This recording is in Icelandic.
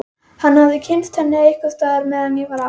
Hann hafði kynnst henni einhvers staðar meðan ég var á